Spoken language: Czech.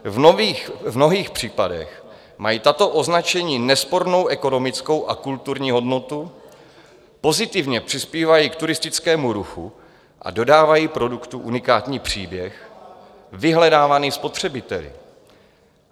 V mnohých případech mají tato značení nespornou ekonomickou a kulturní hodnotu, pozitivně přispívají k turistickému ruchu a dodávají produktu unikátní příběh vyhledávaný spotřebiteli.